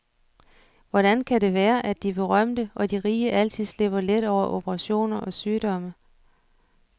Hvordan kan det være, at de berømte og de rige altid slipper let over operationer og sygdomme?